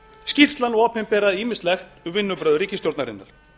skýrslan opinberaði ýmislegt um vinnubrögð ríkisstjórnarinnar